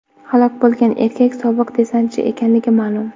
Halok bo‘lgan erkak sobiq desantchi ekanligi ma’lum.